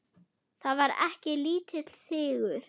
Það var ekki lítill sigur!